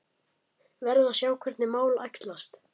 Verð að sjá hvernig mál æxlast